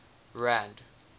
rand